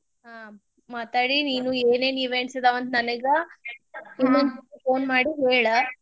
ಹಾ ಮಾತಾಡಿ ನೀನು ಏನೇನ್ events ಅದಾವಂತ ನನಗ phone ಮಾಡಿ ಹೇಳ್.